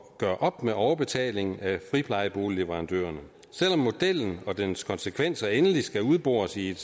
gøre op med overbetaling af friplejeboligleverandørerne selv om modellen og dens konsekvenser endeligt skal udbores i